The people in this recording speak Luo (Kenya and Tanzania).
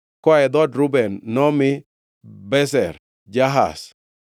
Koa e dhood Reuben nomi: Bezer, Jahaz,